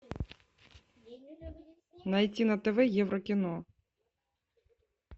найти на тв еврокино